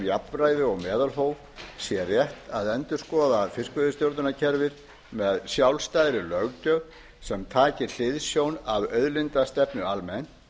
jafnræði og meðalhóf sé rétt að endurskoða fiskveiðistjórnarkerfið með sjálfstæðri löggjöf sem taki hliðsjón af auðlindastefnu almenn